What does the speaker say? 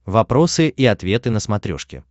вопросы и ответы на смотрешке